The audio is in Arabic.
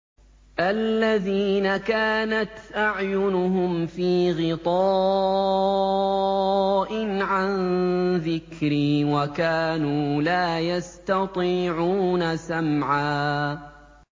الَّذِينَ كَانَتْ أَعْيُنُهُمْ فِي غِطَاءٍ عَن ذِكْرِي وَكَانُوا لَا يَسْتَطِيعُونَ سَمْعًا